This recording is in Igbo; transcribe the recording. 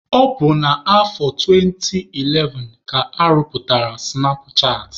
Ọ bụ na afọ 2011 ka arụpụtara sụnap chatị.